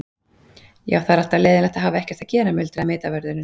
Já, það er alltaf leiðinlegt að hafa ekkert að gera muldraði vitavörðurinn.